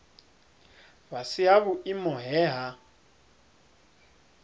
fhasi ha vhuimo he ha